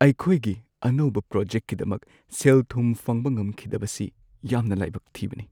ꯑꯩꯈꯣꯏꯒꯤ ꯑꯅꯧꯕ ꯄ꯭ꯔꯣꯖꯦꯛꯀꯤꯗꯃꯛ ꯁꯦꯜ-ꯊꯨꯝ ꯐꯪꯕ ꯉꯝꯈꯤꯗꯕꯁꯤ ꯌꯥꯝꯅ ꯂꯥꯏꯕꯛ ꯊꯤꯕꯅꯤ ꯫